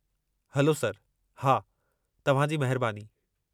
Hello, sir! हा, तव्हां जी महिरबानी।